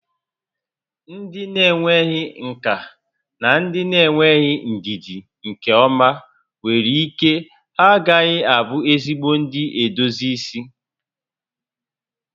Ndị na-enweghị nkà na ndị na-enweghị ndidi nke ọma nwere ike ha agaghị abụ ezigbo ndị na-edozi isi